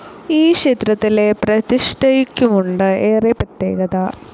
ഈ ക്ഷേത്രത്തിലെ പ്രതിഷ്ഠയ്ക്കുമുണ്ട് ഏറെ പ്രത്യേകത.